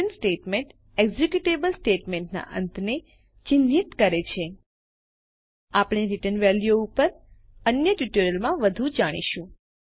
return statement executable સ્ટેટમેન્ટના અંતને ચિહ્નિત કરે છે આપણે રીટર્ન વેલ્યુઓ ઉપર અન્ય ટ્યુટોરીયલ માં વધુ જાણીશું